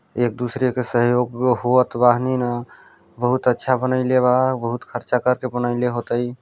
एक दूसरे के सहयोग हुआत बनी ना बहुत आच्छा बनईले बा बहुत खर्चा करके बनई ले हो तइ--